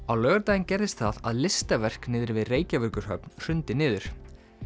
á laugardaginn gerðist það að listaverk niðri við Reykjavíkurhöfn hrundi niður